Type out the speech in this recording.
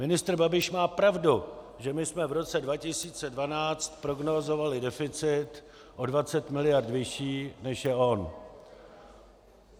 Ministr Babiš má pravdu, že my jsme v roce 2012 prognózovali deficit o 20 mld. vyšší než je on.